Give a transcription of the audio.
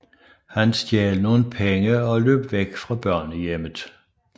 Han stjal nogle penge og løb væk fra børnehjemmet